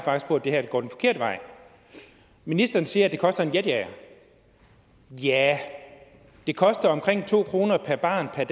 på at det her faktisk går den forkerte vej ministeren siger at det koster en jetjager ja det koster omkring to kroner per barn per